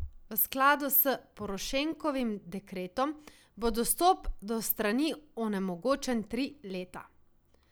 V skladu s Porošenkovim dekretom bo dostop do strani onemogočen tri leta.